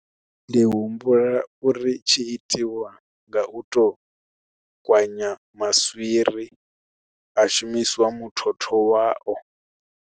Ndi humbula uri tshi itiwa nga u to kwanya maswiri ha shumisiwa muthotho wao.